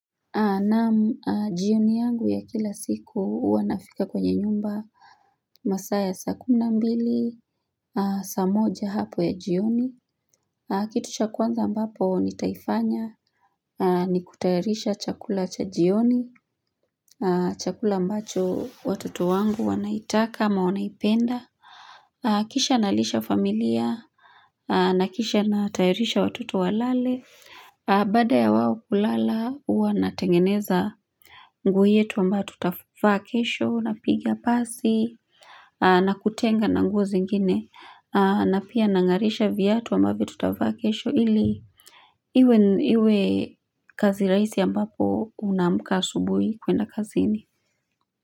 Naam jioni yangu ya kila siku huwa nafika kwenye nyumba masaa ya saa kumi na mbili, saa moja hapo ya jioni. Kitu cha kwanza ambapo nitaifanya ni kutayarisha chakula cha jioni, chakula ambacho watoto wangu wanaitaka ama wanaipenda. Kisha nalisha familia, na kisha natayarisha watoto walale, baada ya wao kulala huwa natengeneza nguo yetu ambayo tutavaa kesho, napiga pasi, nakutenga na nguo zingine, na pia nangarisha viatu ambavyo tutavaa kesho ili iwe kazi raisi ambapo unaamka asubuhi kwenda kazini.